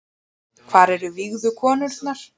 Hvar eru vígðu konurnar